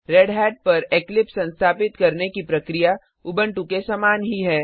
रेढ़त पर इक्लिप्स संस्थापित करने की प्रक्रिया उबंटु के समान ही है